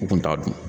U kun t'a dun